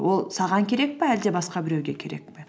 ол саған керек пе әлде басқа біреуге керек пе